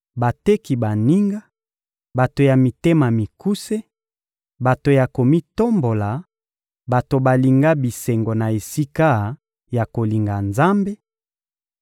bateki baninga, bato ya mitema mikuse, bato na komitombola, bato balinga bisengo na esika ya kolinga Nzambe;